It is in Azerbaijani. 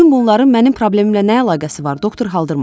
Bütün bunların mənim problemimlə nə əlaqəsi var, doktor Haldırman?